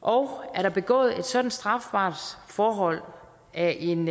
og er der begået et sådant strafbart forhold af en